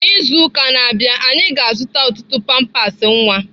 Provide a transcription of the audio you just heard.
N'izu ụka na-abịa, anyị ga-azụta ọtụtụ pampers nwa.